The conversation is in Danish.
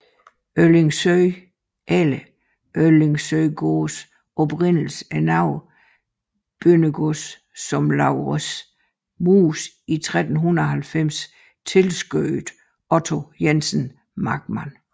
Øllingsøe eller Øllingsøegaards oprindelse er noget bøndergods som Laurens Muus i 1390 tilskødede Otto Jensen Markmand